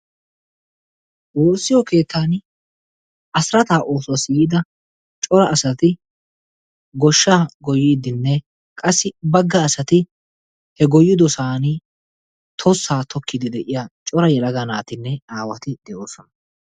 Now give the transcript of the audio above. woossiyo keettaani asirataa oosuwassi yiida cora asati goshshaa goyiidinne qassi bagga asati he goyidosani tossaa tokkiidi de'iyaageetu matan cora yelaga naatinne aawati de'oosona.